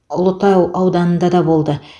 ұлытау ауданында да болды